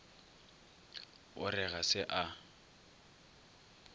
o re ga se a